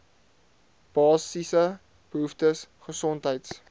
basiese behoeftes gesondheids